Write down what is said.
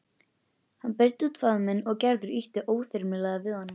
Hann breiddi út faðminn og Gerður ýtti óþyrmilega við honum.